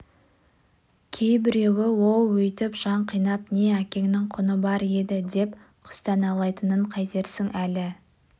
кейбіреуі оу өйтіп жан қинап не әкеңнің құны бар еді деп күстаналайтынын қайтерсің әлі